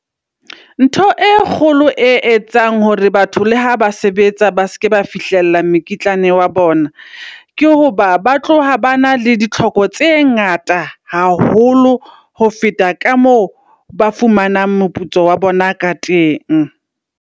Ntho e kgolo e etsang hore batho le ha ba sebetsa, ba seke ba fihlella mekitlane wa bona. Ke hoba ba tloha ba na le ditlhoko tse ngata haholo. Ho feta ka moo ba fumanang moputso wa bona ka teng.